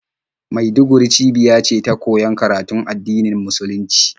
Maiduguri cibiya ce ta koyon karatun addinin musulunci,